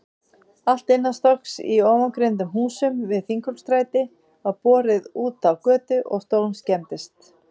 Allt innanstokks í ofangreindum húsum við Þingholtsstræti var borið útá götu og stórskemmdist.